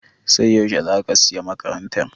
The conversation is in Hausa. Sai yaushe za ka sayi makarantar?